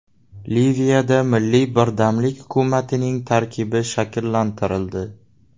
Liviyada milliy birdamlik hukumatining tarkibi shakllantirildi.